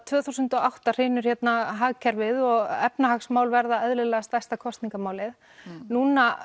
tvö þúsund og átta hrynur hagkerfið og efnahagsmál verða eðlilega stærsta kosningamálið núna